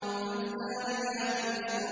فَالْجَارِيَاتِ يُسْرًا